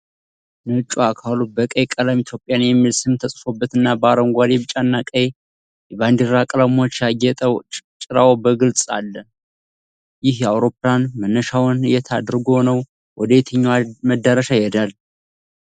ነጭው አካሉ በቀይ ቀለም "Ethiopian" የሚል ስም ተጽፎበትና በአረንጓዴ፣ ቢጫና ቀይ የባንዲራ ቀለሞች ያጌጠ ጭራው በግልጽ አለ። ይህ አውሮፕላን መነሻውን የት አድርጎ ነው ወደየትኛው መዳረሻ ይሄዳል?